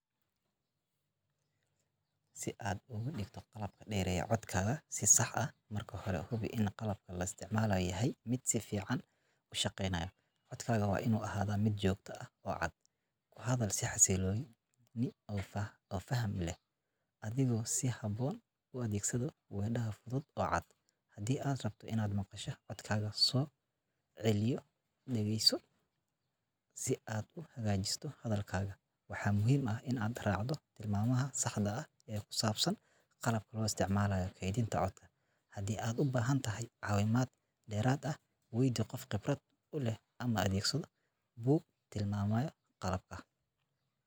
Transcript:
Si aad ugu dhigto qalabka dheereeya codkaagu si sax ah, marka hore hubi in qalabka la isticmaala yahay mid si fiican u shaqeynaya. Codkaagu waa inuu ahaadaa mid joogto ah oo cad. Ku hadal si xasilloon oo faham leh, adigoo si habboon u adeegsada weedho fudud oo cad. Haddii aad rabto inaad maqasho codkaaga, ku soo celiyoo dhageyso si aad u hagaajiso hadalkaga. Waxaa muhiim ah inaad raacdo tilmaamaha saxda ah ee ku saabsan qalabka loo isticmaalayo kaydinta codka. Haddii aad u baahan tahay caawimaad dheeraad ah, weydii qof khibrad u leh ama adeegso buug tilmaamaya qalabka."